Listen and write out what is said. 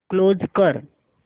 close कर